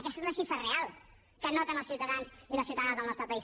aquesta és la xifra real que noten els ciutadans i les ciutadanes del nostre país